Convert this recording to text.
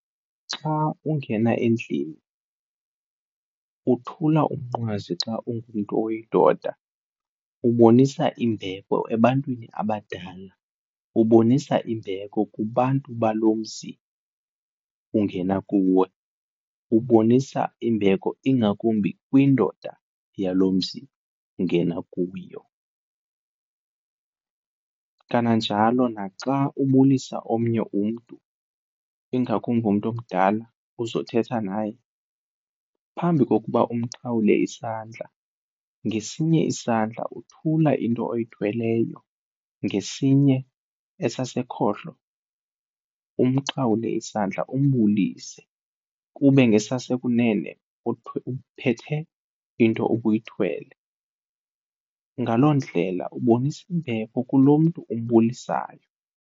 Xa ungena endlini uthula umnqwazi xa ungumntu oyindoda, ubonisa imbeko ebantwini abadala, ubonisa imbeko kubantu balo mzi ungena kuwo, ubonisa imbeko ingakumbi kwindoda yalo mzi ungena kuyo. Kananjalo naxa ubulisa omnye umntu ingakumbi umntu omdala uzothetha naye, phambi kokuba umxhawule isandla ngesinye isandla uthula into oyithweleyo, ngesinye esasekhohlo umxhawule isandla umbulise kube ngasasekunene uphethe into ubuyithwele. Ngaloo ndlela ubonisa imbeko kulo mntu umbulisayo.